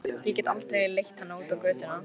Ég get aldrei leitt hana út á götuna.